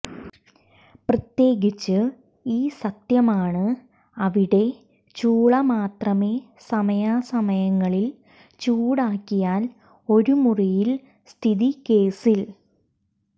പ്രത്യേകിച്ച് ഈ സത്യമാണ് അവിടെ ചൂള മാത്രമേ സമയാസമയങ്ങളിൽ ചൂടാക്കിയാൽ ഒരു മുറിയിൽ സ്ഥിതി കേസിൽ